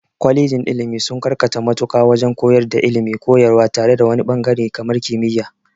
Kwalejin ilmi sun karkata mutaƙa wajen koyar da ilmin koyarwa tare wani ɓangare kamar kimiya